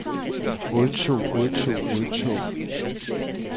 odtog odtog odtog